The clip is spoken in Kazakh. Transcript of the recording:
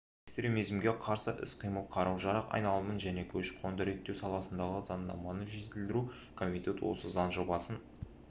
экстремизмге қарсы іс-қимыл қару-жарақ айналымын және көші-қонды реттеу саласындағы заңнаманы жетілдіру комитет осы заң жобасын